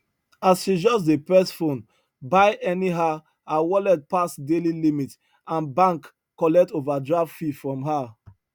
as she just dey press phone buy anyhow her wallet pass daily limit and bank collect overdraft fee from her